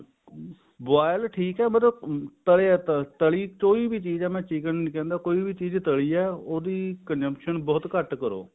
boil ਠੀਕ ਆ ਮਤਲਬ ਨਾਲੇ ਤਰੀ ਕੋਈ ਚੀਜ਼ ਹੈ ਮੈਂ chicken ਨੀ ਕਹਿੰਦਾ ਕੋਈ ਵੀ ਚੀਜ਼ ਤਲੀ ਹੈ ਉਹਦੀ consumption ਬਹੁਤ ਘੱਟ ਕਰੋ